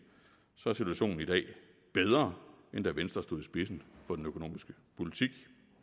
er situationen i dag bedre end da venstre stod i spidsen for den økonomiske politik